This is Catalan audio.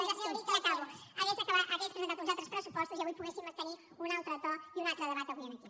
sí ja acabo hagués presentat uns altres pressupostos i avui poguéssim tenir un altre to i un altre debat avui aquí